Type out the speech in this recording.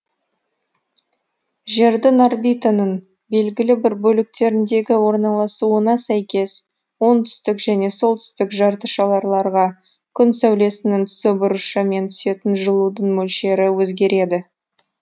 жердің орбитаның белгілі бір бөліктеріндегі орналасуына сәйкес оңтүстік және солтүстік жарты шарларға күн сәулесінің түсу бұрышы мен түсетін жылудың мөлшері өзгереді